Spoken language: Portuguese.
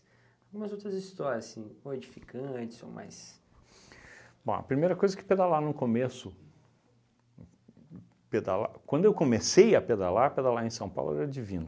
Algumas outras histórias, assim, ou edificantes ou mais... Bom, a primeira coisa que pedalar no começo... Pedalar... Quando eu comecei a pedalar, pedalar em São Paulo era divino.